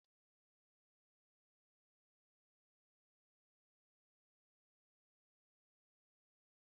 Akụkọ okpukpe na-ekerịta akụkọ sitere na okpukpe dị iche iche, na-akụzi nkuzi dị mkpa.